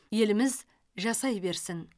еліміз жасай берсін